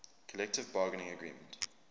collective bargaining agreement